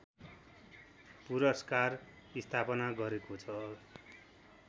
पुरस्कार स्थापना गरेको छ